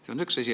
See on üks asi.